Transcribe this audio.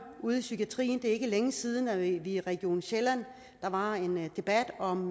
ude i psykiatrien det er ikke længe siden at der i region sjælland var en debat om